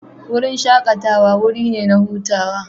Wurin shakatawa wuri ne na hutawa.